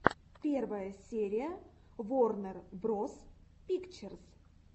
первая серия ворнер броз пикчерз